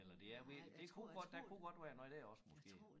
Eller det er ved det kunne godt der kunne godt være noget dér også måske